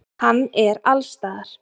Hann er allsstaðar.